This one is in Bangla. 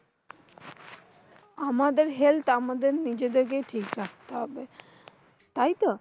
আমাদের helth আমাদের নিজেদের কেই ঠিক রাখতে হবে। তাইতো?